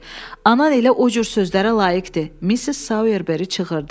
Anan elə o cür sözlərə layiqdir", Missis Soyerberi cığırdı.